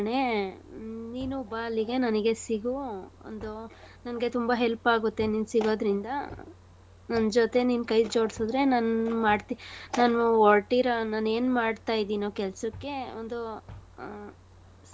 ಕಣೇ. ಹ್ಮ್ ನೀನು ಬಾ ಅಲ್ಲಿಗೆ ನನಿಗೆ ಸಿಗು. ಒಂದು ನಂಗೆ ತುಂಬಾ help ಆಗೊತ್ತೇ ನೀನ್ ಸಿಗೋದ್ರಿಂದ . ನನ್ ಜೊತೆ ನೀನ್ ಕೈ ಜೋಡ್ಸಿದ್ರೆ ನನ್ ಮಾಡ್ತಿ ನಾನು ಹೊರ್ಟಿರೊ ನಾನ್ ಏನ್ ಮಾಡ್ತಾಯಿದಿನೋ ಕೆಲ್ಸಕ್ಕೆ ಒಂದು ಆ.